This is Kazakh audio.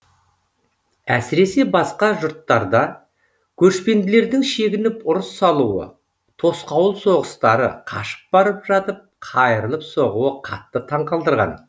әсіресе басқа жұрттарда көшпенділердің шегініп ұрыс салуы тосқауыл соғыстары қашып барып жатып қайырылып соғуы қатты таңқалдырған